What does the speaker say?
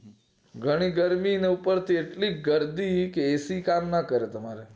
જાણે ગરમી ને ઉપર થી એટલી ગર્ડી કે એ સી કામ ના કરે તમારે